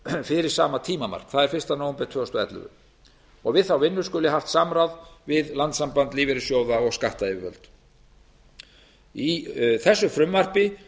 fyrir sama tímamark það er fyrsta nóvember tvö þúsund og ellefu við þá vinnu skuli haft samráð við landssamband lífeyrissjóða og skattyfirvöld í þessu frumvarpi